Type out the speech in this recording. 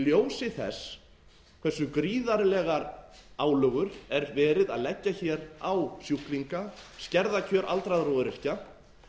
í ljósi þess hversu gríðarlegar álögur er verið að leggja hér á sjúklinga skerða kjör aldraðra og öryrkja